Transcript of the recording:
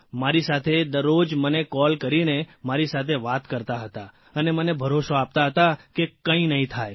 મારી સાથે દરરોજ મને કોલ કરીને મારી સાથે વાત કરતા હતા અને મને ભરોસો આપતા હતા કે કંઇ નહીં થાય